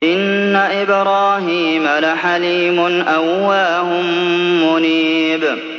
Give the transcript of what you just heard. إِنَّ إِبْرَاهِيمَ لَحَلِيمٌ أَوَّاهٌ مُّنِيبٌ